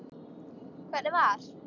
Hvernig var?